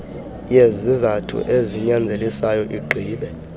yezizathu ezinyanzelisayo igqibe